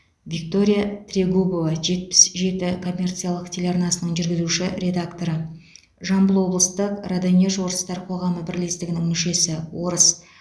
виктория трегубова жетпіс жеті коммерциялық телеарнасының жүргізуші редакторы жамбыл облыстық раданеж орыстар қоғамы бірлестігінің мүшесі орыс